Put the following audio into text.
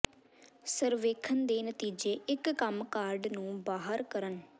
ਸਰਵੇਖਣ ਦੇ ਨਤੀਜੇ ਇੱਕ ਕੰਮ ਕਾਰਡ ਨੂੰ ਬਾਹਰ ਕਰਨ